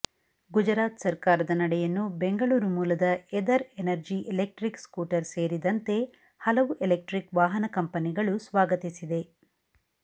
ಗುಜರಾತ್ ಸರ್ಕಾರದ ನಡೆಯನ್ನು ಬೆಂಗಳೂರು ಮೂಲದ ಎದರ್ ಎನರ್ಜಿ ಎಲೆಕ್ಟ್ರಿಕ್ ಸ್ಕೂಟರ್ ಸೇರಿದಂತೆ ಹಲವು ಎಲೆಕ್ಟ್ರಿಕ್ ವಾಹನ ಕಂಪನಿಗಳು ಸ್ವಾಗತಿಸಿದೆ